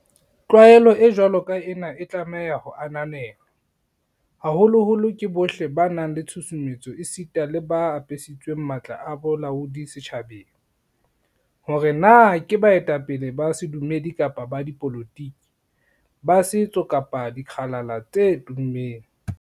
Tlwaelo e jwalo ka ena e tlameha ho ananelwa, haholoholo ke bohle ba nang le tshusumetso esita le ba apesitsweng matla a bolaodi setjhabeng, hore na ke baetapele ba sedumedi kapa ba dipolotiki, ba setso kapa dikgalala tse tummeng.